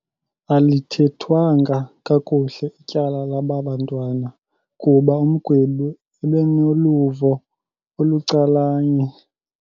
Alithethwanga kakuhle ityala laba bantwana kuba umgwebi ebenoluvo olucalanye.